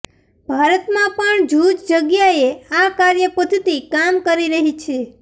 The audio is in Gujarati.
ભારતમાં પણ જૂજ જગ્યાએ આ કાર્ય પઘ્ધતિ કામ કરી રહી છે